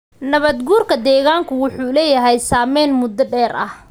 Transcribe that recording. Nabaad-guurka deegaanku wuxuu leeyahay saamayn muddo dheer ah.